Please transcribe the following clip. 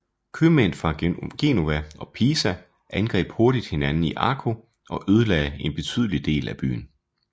Købmænd fra Genova og Pisa angreb hurtigt hinanden i Akko og ødelagde en betydelig del af byen